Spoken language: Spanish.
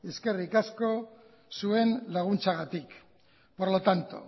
eskerrik asko zuen laguntzagatik por lo tanto